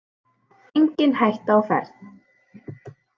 Engin hætta á ferð